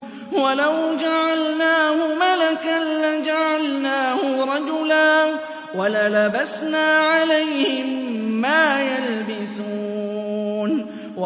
وَلَوْ جَعَلْنَاهُ مَلَكًا لَّجَعَلْنَاهُ رَجُلًا وَلَلَبَسْنَا عَلَيْهِم مَّا يَلْبِسُونَ